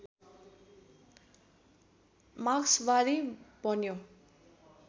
मार्क्सवादी बन्यो